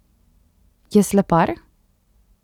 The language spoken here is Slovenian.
Je slepar?